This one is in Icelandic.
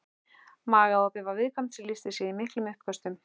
Magaopið var viðkvæmt sem lýsti sér í miklum uppköstum.